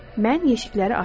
Mən yeşikləri açdım.